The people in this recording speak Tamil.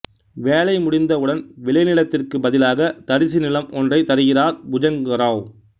வேலை முடிந்த உடன் விளைநிலத்திற்கு பதிலாக தரிசு நிலம் ஒன்றை தருகிறார் புஜங்கராவ்